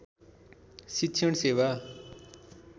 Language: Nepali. शिक्षण सेवा